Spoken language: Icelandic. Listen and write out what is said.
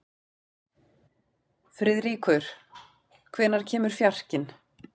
Friðríkur, hvenær kemur fjarkinn?